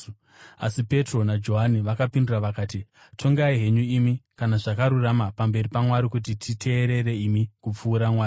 Asi Petro naJohani vakapindura vakati, “Tongai henyu imi kana zvakarurama pamberi paMwari kuti titeerere imi kupfuura Mwari.